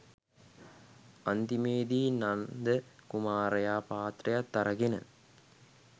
අන්තිමේදී නන්ද කුමාරයා පාත්‍රයත් අරගෙන